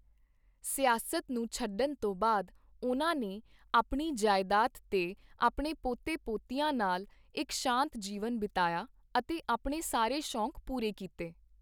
ਸਿਆਸਤ ਨੂੰ ਛੱਡਣ ਤੋਂ ਬਾਅਦ, ਉਨ੍ਹਾਂ ਨੇ ਆਪਣੀ ਜਾਇਦਾਦ 'ਤੇ ਆਪਣੇ ਪੋਤੇ ਪੋਤੀਆਂ ਨਾਲ ਇਕ ਸ਼ਾਂਤ ਜੀਵਨ ਬਿਤਾਇਆ, ਅਤੇ ਆਪਣੇ ਸਾਰੇ ਸ਼ੌਕ ਪੂਰੇ ਕੀਤੇ